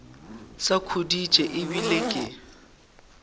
sa khuditše e bile ke